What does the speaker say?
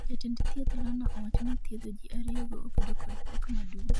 Jatend thieth Lona owacho ni thiedho ji ariyogo obedo kod pek maduong'